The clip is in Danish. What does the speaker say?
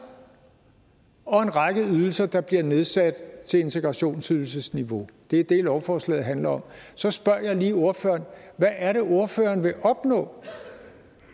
og en række ydelser der bliver nedsat til integrationsydelsesniveau det er det lovforslaget handler om så spørger jeg lige ordføreren hvad er det ordføreren vil opnå